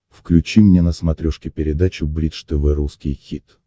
включи мне на смотрешке передачу бридж тв русский хит